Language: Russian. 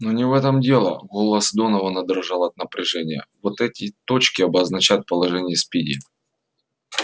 но не в этом дело голос донована дрожал от напряжения вот эти точки обозначают положение спиди